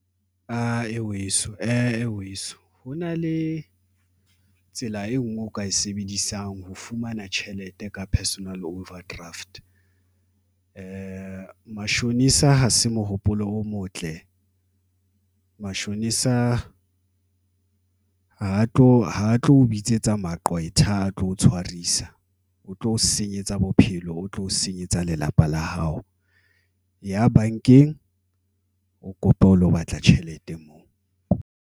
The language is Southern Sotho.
A weso e weso ho na le tsela e nngwe o ka e sebedisang ho fumana tjhelete ka personal overdraft. Mashonisa ha se mohopolo o motle mashonisa ha tlo bitsetsa maqwetha ha a tlo tshwarisa o tlo senyetsa bophelo, o tlo senyetsa lelapa la hao e ya bankeng, o kope o lo batla tjhelete mo.